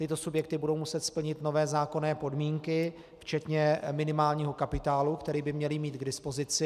Tyto subjekty budou muset splnit nové zákonné podmínky včetně minimálního kapitálu, který by měly mít k dispozici.